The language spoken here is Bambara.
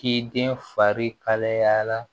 K'i den fari kalaya